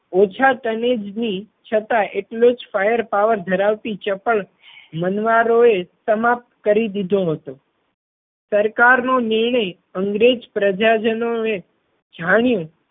ઓછા તનેજ ની છતાંય એટલો જ ફાયર પાવર ધરાવતી ચપળ મનવારો એ સમાપ્ત કરી દીધો હતો. સરકાર નો નિર્ણય અંગ્રેજ પ્રજાજનો એ જાણ્યો